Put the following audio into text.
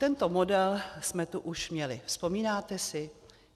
Tento model jsme tu už měli, vzpomínáte si?